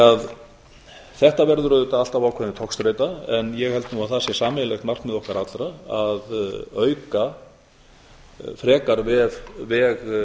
eldsneytisgjöfum þetta verður auðvitað alltaf ákveðin togstreita en ég held nú að það sé sameiginlegt markmið okkar allra að auka frekar veg